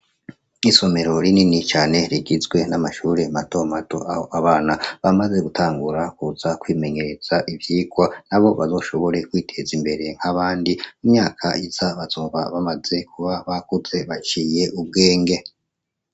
Isomero rinini cane rigizwe n'amashuri mato mato aho abana bamaze gutangura kuza kwimenyereza ivyigwa nabo bazoshobore kwiteza imbere nk’abandi imyaka iza bazoba bamaze kuba bakuze baciye ubwenge.